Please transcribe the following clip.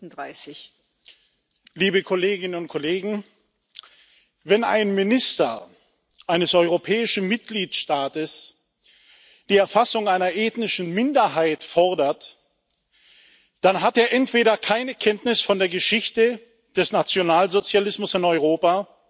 Frau Präsidentin, liebe Kolleginnen und Kollegen! Wenn ein Minister eines europäischen Mitgliedstaates die Erfassung einer ethnischen Minderheit fordert, dann hat er entweder keine Kenntnis von der Geschichte des Nationalsozialismus in Europa